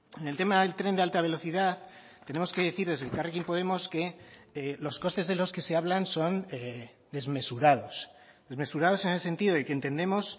en el tema del tren de alta velocidad tenemos que decir desde elkarrekin podemos que los costes de los que se hablan son desmesurados desmesurados en el sentido de que entendemos